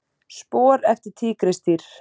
Spor eftir tígrisdýr.